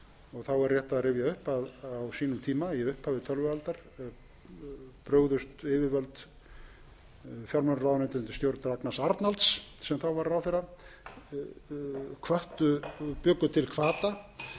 upp að á sínum tíma í upphafi tölvualdar brugðust yfirvöld fjármálaráðuneytið undir stjórn ragnars arnalds sem þá var ráðherra bjuggu til